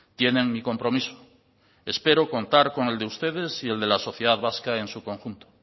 tienen mi compromiso espero contar con el de ustedes y el de la sociedad vasca en su conjunto